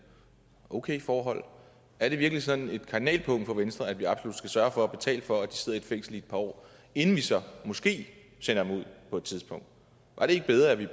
okay forhold er det virkelig sådan et kardinalpunkt for venstre at vi absolut skal sørge for at betale for at de sidder i et fængsel i et par år inden vi så måske sender dem ud på et tidspunkt var det ikke bedre at vi